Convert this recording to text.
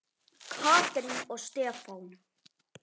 Katrín og Stefán.